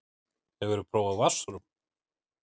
Hefurðu prófað vatnsrúm?